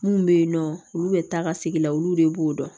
Mun bɛ yen nɔ olu bɛ taa ka segin olu de b'o dɔn